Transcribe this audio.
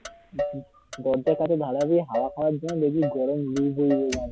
দরজার কাছে দাঁড়ালেই হাওয়া খাওয়ার জন্য। দেখবি হাওয়ার থেকে বেশি লু বইবে।